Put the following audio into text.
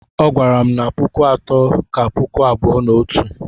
Ọ gwara m na puku atọ ka puku abụọ na otu